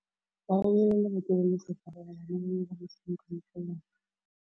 Ba rekile lebati le le setlha gore bana ba dire motshameko mo go lona.